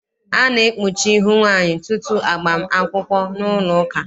A na-ekpuchi ihu nwaanyị tutu agbam akwụkwọ n'ụlọụka.